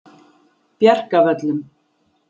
Bjarkavöllum